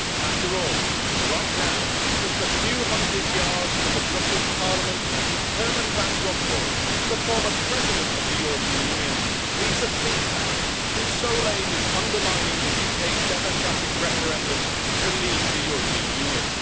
After all, right now, just a few hundred yards from the Brussels Parliament, Herman Van Rompuy, the former President of the European Union, leads a think tank whose sole aim is undermining the UK's democratic referendum to leave the European Union.